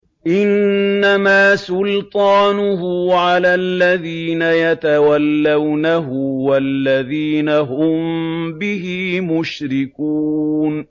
إِنَّمَا سُلْطَانُهُ عَلَى الَّذِينَ يَتَوَلَّوْنَهُ وَالَّذِينَ هُم بِهِ مُشْرِكُونَ